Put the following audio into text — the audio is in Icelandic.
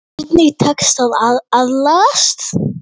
Hvernig tekst að aðlagast?